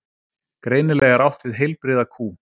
Greinilega er átt við heilbrigða kú.